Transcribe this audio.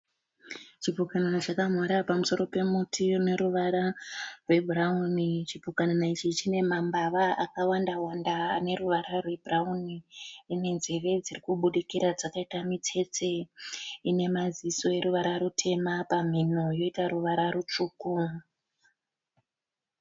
Chipukana chakamhara pamuti une ruvara rwebhurauni. Chipukanana ichi chine mambava akawanda wanda ebhurauni. Chine nzeve dzakabudikira dzakaita mitsetse ine maziso eruvara rutema pamhino yoita ruvara rutsvuku.